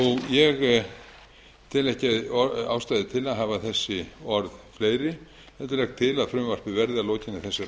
ég tel ekki ástæðu til að hafa þessi orð fleiri heldur legg til að frumvarpið verði að lokinni